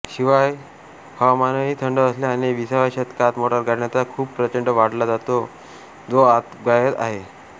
शिवाय हवामानही थंड असल्याने विसाव्या शतकात मोटारगाड्यांचा खप प्रचंड वाढला जो आजतागायत आहे